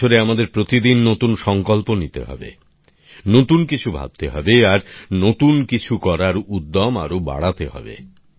এই বছরে আমাদের প্রতিদিন নতুন সংকল্প নিতে হবে নতুন কিছু ভাবতে হবে আর নতুন কিছু করার উদ্যম আরো বাড়াতে হবে